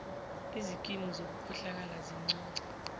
izikimu zokukhohlakala zincunce